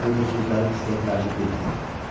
Ona görə də sözlərim sizə təəccüblü gəlir.